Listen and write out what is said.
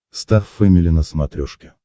стар фэмили на смотрешке